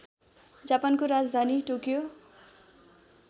जापानको राजधानी टोकियो